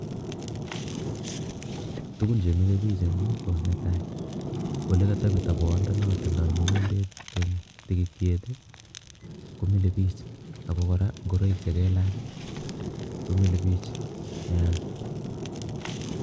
Tuguun che mile biik en Yuu ko ne tai olekatepta boyondenon naan tinye mogombeet eng tikitiek ii ko mile biik ako kora ingoraik che kelaachh komile biik niah.